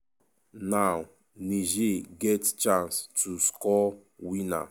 now niger get chance to score winner.